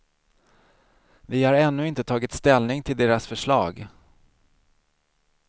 Vi har ännu inte tagit ställning till deras förslag.